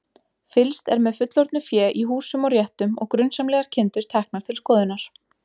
Fylgst er með fullorðnu fé í húsum og réttum og grunsamlegar kindur teknar til skoðunar.